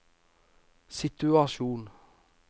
situasjon